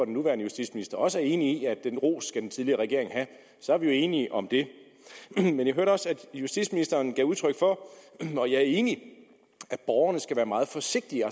nuværende justitsminister også er enig i at den ros skal den tidligere regering have så er vi jo enige om det men jeg hørte også at justitsministeren gav udtryk for og jeg er enig at borgerne skal være meget forsigtige